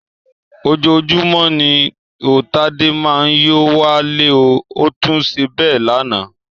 Ojoojúmọ́ ni ó Tádé máa ń yó wálé, ó tún ṣe bẹ́ẹ̀ lánàá